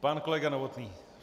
Pan kolega Novotný.